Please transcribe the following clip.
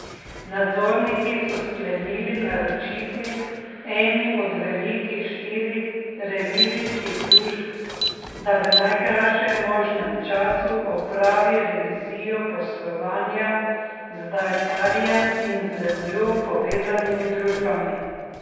Nadzorniki so sklenili naročiti eni od velikih štirih revizijskih družb, da v najkrajšem možnem času opravi revizijo poslovanja z Daltarjem in z njo povezanimi družbami.